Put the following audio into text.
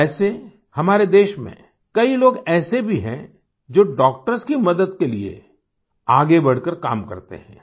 वैसे हमारे देश में कई लोग ऐसे भी हैं जो डॉक्टर्स की मदद के लिए आगे बढ़कर काम करते हैं